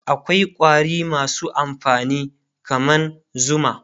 akwai ƙwari masu amfani kaman zuma